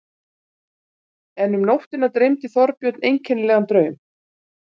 En um nóttina dreymdi Þorbjörn einkennilegan draum.